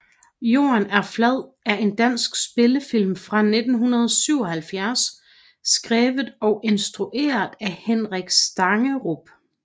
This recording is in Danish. Jorden er flad er en dansk spillefilm fra 1977 skrevet og instrueret af Henrik Stangerup